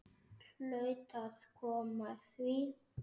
Hlaut að koma að því.